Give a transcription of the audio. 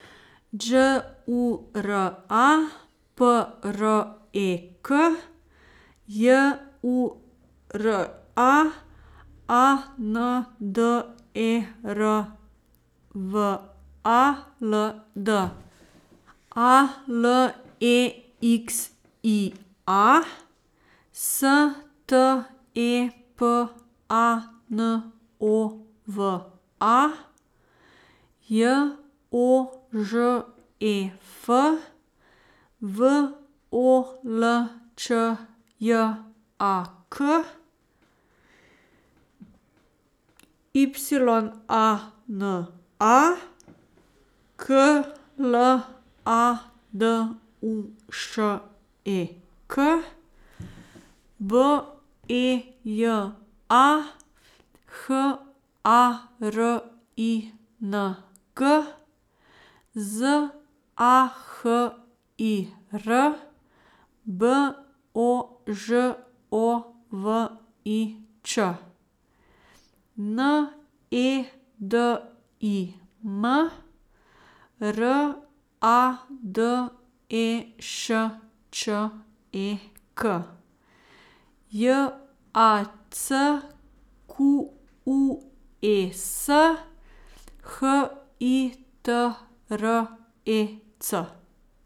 Đ U R A, P R E K; J U R A, A N D E R W A L D; A L E X I A, S T E P A N O V A; J O Ž E F, V O L Č J A K; Y A N A, K L A D U Š E K; B E J A, H A R I N G; Z A H I R, B O Ž O V I Ć; N E D I M, R A D E Š Č E K; J A C Q U E S, H I T R E C.